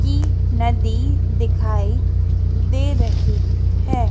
की नदी दिखाई दे रही है।